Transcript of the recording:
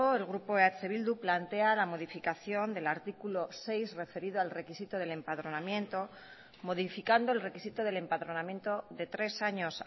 el grupo eh bildu plantea la modificación del artículo seis referido al requisito del empadronamiento modificando el requisito del empadronamiento de tres años